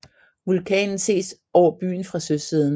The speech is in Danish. Vulkanen ses over byen fra søsiden